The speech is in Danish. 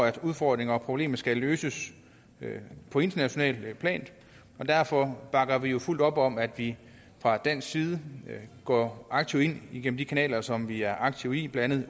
at udfordringen og problemet skal løses på internationalt plan og derfor bakker vi jo fuldt op om at vi fra dansk side går aktivt ind igennem de kanaler som vi aktive i blandt